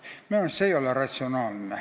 Minu arust see ei ole ratsionaalne.